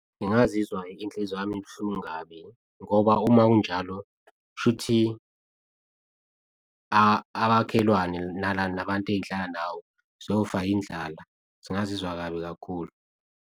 Ngingazizwa inhliziyo yami ibuhlungu kabi ngoba uma kunjalo, shuthi abakhelwane nala nabantu enghlala nawo sofa indlala singazizwa kabi kakhulu.